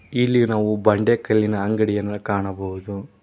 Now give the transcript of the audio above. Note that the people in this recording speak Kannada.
ಇಲ್ಲಿ ನಾವು ಬಂಡೆ ಕಲ್ಲಿನ ಅಂಗಡಿಯನ್ನ ಕಾಣಬಹುದು.